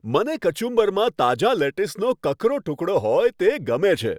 મને કચુંબરમાં તાજા લેટીસનો કકરો ટુકડો હોય તે ગમે છે.